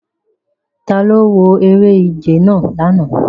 Talo wo ere-ije nàa làná